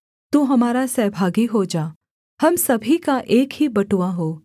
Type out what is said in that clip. तू हमारा सहभागी हो जा हम सभी का एक ही बटुआ हो